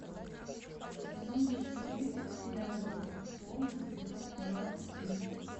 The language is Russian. сезон четыре сериал доктор кто эпизод двадцать три